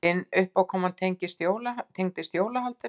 Hin uppákoman tengdist jólahaldinu.